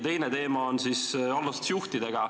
Teine teema on allasutuste juhtidega.